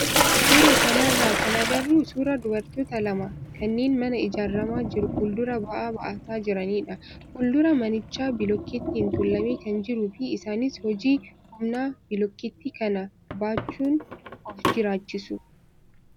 Suuraa kanarraa kan agarru suuraa dubartoota lama kanneen mana ijaaramaa jiru fuulduraa ba'aa baataa jiranidha. Fuuldura manichaa bilookkeettiin tuulamee kan jiruu fi isaanis hojii humnaa bilookkeetti kana baachuun of jiraachisu.